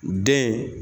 Den